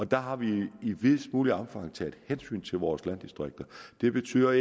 der har vi i videst muligt omfang taget hensyn til vores landdistrikter det betyder